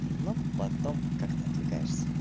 ну потом как-то отвлекаешь